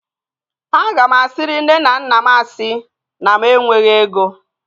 Aga m asiri nne na nna m asị na mụ enweghị ego